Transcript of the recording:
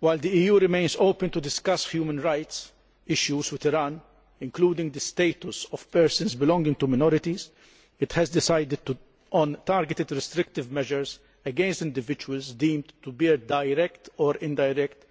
While the EU remains open to discussing human rights issues with Iran, including the status of persons belonging to minorities, it has decided on targeted restrictive measures against individuals deemed to bear direct or indirect